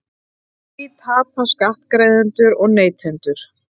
Á því tapa skattgreiðendur og neytendur